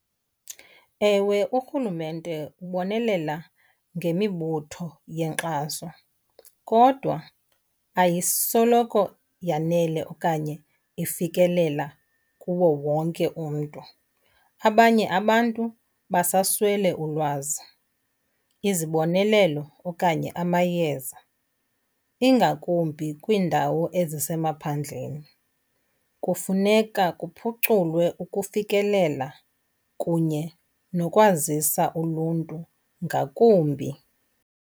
Ewe, urhulumente ubonelela ngemibutho yenkxaso kodwa ayisoloko yanele okanye ifikelela kuwo wonke umntu. Abanye abantu basaswele ulwazi, izibonelelo okanye amayeza ingakumbi kwiindawo ezisemaphandleni. Kufuneka kuphuculwe ukufikelela kunye nokwazisa uluntu ngakumbi.